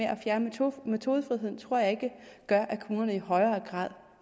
at fjerne metodefriheden tror jeg ikke gør at kommunerne i højere grad